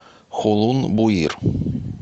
хулун буир